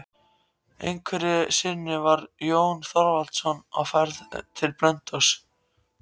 Einhverju sinni var Jón Þorvaldsson á ferð til Blönduóss.